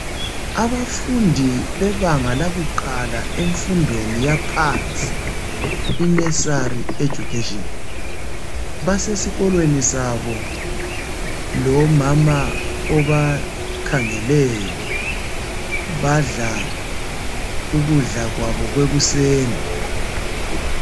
Abafundi bebanga lakuqala emfundweni yaphansi i nursery education basesikolweni sabo lomama obakhangeleyo badla ukudla kwabo kwekuseni.